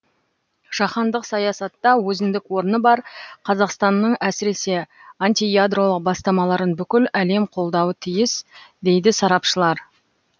жаһандық саясатта өзіндік орны бар қазақстанның әсіресе антиядролық бастамаларын бүкіл әлем қолдауы тиіс дейді сарапшылар